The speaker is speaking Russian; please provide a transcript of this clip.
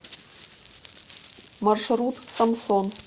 маршрут самсон